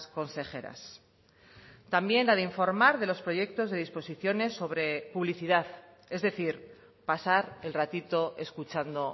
consejeras también la de informar de los proyectos de disposiciones sobre publicidad es decir pasar el ratito escuchando